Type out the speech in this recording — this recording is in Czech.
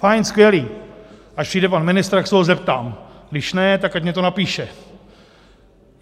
Fajn, skvělý, až přijde pan ministr, tak se ho zeptám, když ne, tak ať mi to napíše.